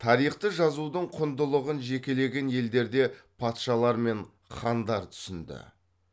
тарихты жазудың құндылығын жекелеген елдерде патшалар мен хандар түсінді